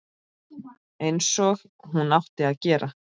Einsog hún átti að gera.